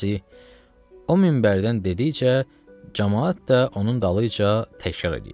Əlləzi o minbərdən dedikcə, camaat da onun dalınca təkrar eləyir.